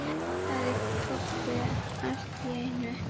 sagði Kobbi allt í einu.